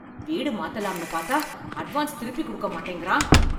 வீடு மாத்தலாம்னு பார்த்தா அட்வான்ஸ் திருப்பி கொடுக்க மாட்டேங்கிறான்